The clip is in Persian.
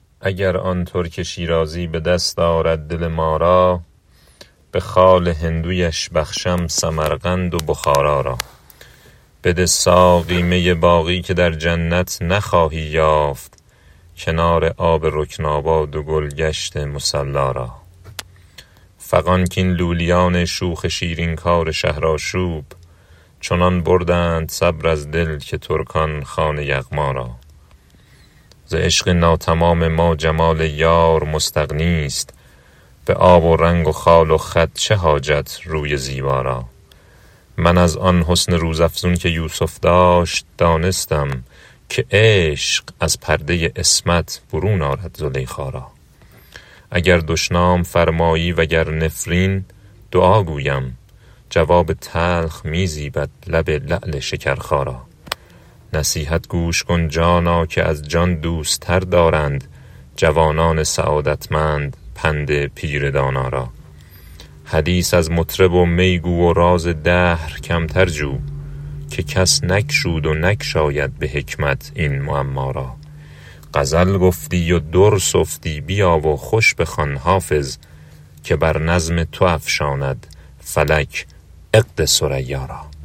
اگر آن ترک شیرازی به دست آرد دل ما را به خال هندویش بخشم سمرقند و بخارا را بده ساقی می باقی که در جنت نخواهی یافت کنار آب رکناباد و گل گشت مصلا را فغان کاین لولیان شوخ شیرین کار شهرآشوب چنان بردند صبر از دل که ترکان خوان یغما را ز عشق ناتمام ما جمال یار مستغنی است به آب و رنگ و خال و خط چه حاجت روی زیبا را من از آن حسن روزافزون که یوسف داشت دانستم که عشق از پرده عصمت برون آرد زلیخا را اگر دشنام فرمایی و گر نفرین دعا گویم جواب تلخ می زیبد لب لعل شکرخا را نصیحت گوش کن جانا که از جان دوست تر دارند جوانان سعادتمند پند پیر دانا را حدیث از مطرب و می گو و راز دهر کمتر جو که کس نگشود و نگشاید به حکمت این معما را غزل گفتی و در سفتی بیا و خوش بخوان حافظ که بر نظم تو افشاند فلک عقد ثریا را